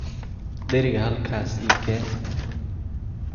Dheriga halkaas ii keen.